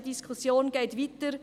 Die Diskussion geht also weiter.